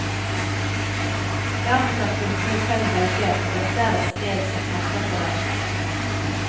Dermed kan kundene selv velge om dette er et sted som passer for dem.